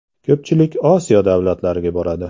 Ko‘pchilik Osiyo davlatlariga boradi.